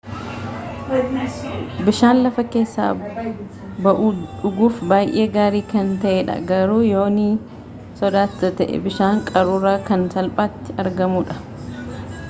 bishaan lafa keessa ba'uu dhuguuf baayee gaarii kan ta'ee dha garuu yoo nii sodaata ta'e bishaan qaruuraa kan salphaatti argamu dha